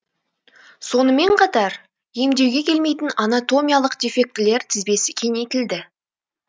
сонымен қатар емдеуге келмейтін анатомиялық дефектілер тізбесі кеңейтілді